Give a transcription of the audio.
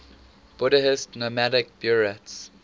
buddhist nomadic buryats